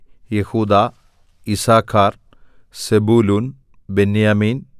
യെഹൂദാ Issachar Zebulun ബെന്യാമീൻ